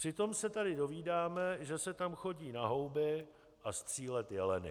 Přitom se tady dovídáme, že se tam chodí na houby a střílet jeleny.